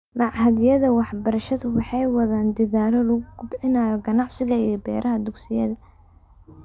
Machadyada waxbarashadu waxa ay wadaan dedaallo lagu kobcinayo ganacsiga iyo beeraha ee dugsiyada.